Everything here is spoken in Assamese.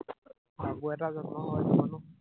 আকৌ এটা জন্ম হল মানুহ